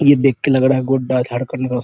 ये देख के लग रहा है गोड्डा झारखण्ड का --